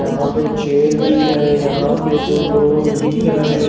यहां पे चेयर भी है यहां पे दो लोग दिख रहे--